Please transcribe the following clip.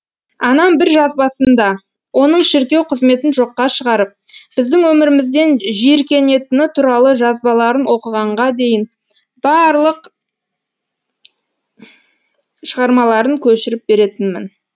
анам бір жазбасында оның шіркеу қызметін жоққа шығарып біздің өмірімізден жиіркенетіні туралы жазбаларын оқығанға дейін барлық шығармаларын көшіріп беретінмін